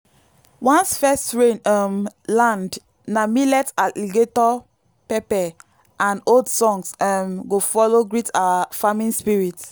once first rain um land na millet alligator pepper and old songs um go follow greet our farming spirits.